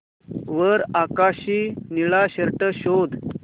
वर आकाशी निळा शर्ट शोध